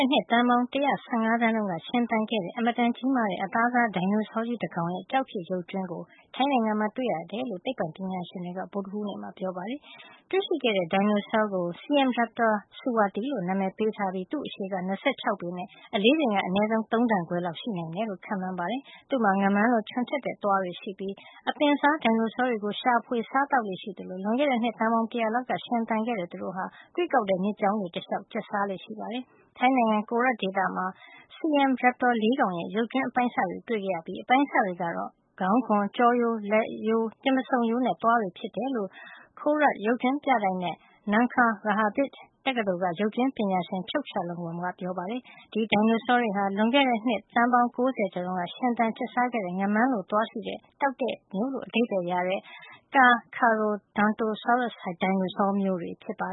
ဲ့နှစ် သန်းပေါင်း ၁၁၅ သန်းတုန်းက ရှင်သန်ခဲ့တဲ့ အင်မတန်ကြီးမားတဲ့ အသားစား ဒိုင်နိုဆောကြီးတကောင်ရဲ့ ကျောက်ဖြစ်ရုပ်ကြွင်းကို ထိုင်းနိုင်ငံမှာ တွေ့ရှိခဲ့တယ်လို့ သိပ္ပွံ ပညာရှင်တွေက ဗုဒ္ဓဟူးနေ့မှာ ပြောပါတယ်။ တွေ့ရှိခဲ့တဲ့ ဒိုင်နိုဆောကို Siamraptor Suwati လို့ အမည် ပေးထားပြီး သူ့ရဲ့အရှည်က ၂၆ ပေနဲ့ အလေးချိန်က အနည်းဆုံး ၃ တန်ခွဲ လောက် ရှိနိုင်တယ်လို့ ခန့်မှန်းထားပါတယ်။ သူ့မှာ ငါးမန်းလို ချွန်ထက်တဲ့သွားတွေရှိပြီး အပင်စားဒိုင်နိုဆောတွေကို ရှာဖွေစားသောက်လေ့ရှိသလို လွန်ခဲ့တဲနှစ်သန်းပေါင်း တရာလောက်ကရှင်သန်ခဲ့တဲ့ သူတို့ဟာ ကွေ့ကောက်တဲ့မြစ်ကြောင်းတွေ တလျှောက် ကျက်စားလေ့ရှိပါတယ်။ ထိုင်းနိုင်ငံ Korat ဒေသမှာ Siamraptor ၄ ကောင်ရဲ့ ရုပ်ကြွင်းအပိုင်းအစ တွေကို တွေ့ရှိခဲ့ပြီး အပိုင်းအစတွေကတော့ ခေါင်းခွံ၊ ကျောရိုး၊ လက်ရိုး၊ တင်ပါးဆုံရိုးနဲ့ သွားတွေ ဖြစ်တယ်လို့ Khorat ရုပ်ကြွင်းပြတိုက်နဲ့ Nakhon Ratchasima Rajabhat တက္ကသိုလ်က ရုပ်ကြွင်းပညာရှင် Chokchaloemwong ကပြောပါတယ်။ ဒီဒိုင်နိုဆောတွေဟာ လွန်ခဲ့တဲ့နှစ် သန်း ၉၀ ကျော်တုန်းက ရှင်သန်ကျက်စားခဲ့တဲ့ ငါးမန်းလို သွားရှိတဲ့ တောက်တဲ့မျိုးလို့ အဓိပ္ပါယ်ရတဲ့ Carcharodontosaurus ဒိုင်နိုဆောမျိုးတွေ ဖြစ်ပါ